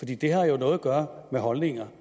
det har jo noget gøre med holdninger